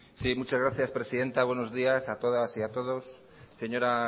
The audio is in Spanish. sí muchas gracias presidenta buenos días a todas y a todos señora